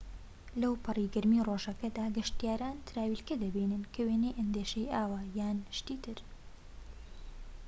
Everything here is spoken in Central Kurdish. لەوپەڕی گەرمیی ڕۆژەکەدا، گەشتیاران تراویلکە دەبینن کە وێنەی ئەندێشەیی ئاوە یان شتی تر